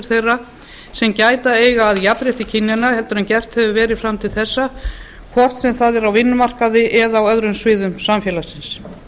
þeirra sem gæta eiga að jafnrétti kynjanna en gert hefur verið fram til þessa hvort sem það er á vinnumarkaði eða á öðrum sviðum samfélagsins